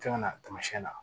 Fɛn na tamasiɛn na